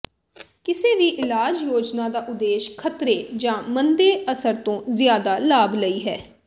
ਕਿਸੇ ਵੀ ਇਲਾਜ ਯੋਜਨਾ ਦਾ ਉਦੇਸ਼ ਖ਼ਤਰੇ ਜਾਂ ਮੰਦੇ ਅਸਰ ਤੋਂ ਜ਼ਿਆਦਾ ਲਾਭ ਲਈ ਹੈ